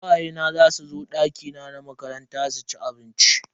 Kawaye na zasu zo dakina na makaranta su ci abinci.